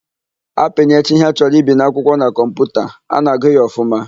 A pinyecha ihe a chọrọ ibi n'akwụkwọ na kọmputa, a na-agụ ya ọfụma.